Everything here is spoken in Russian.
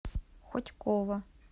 хотьково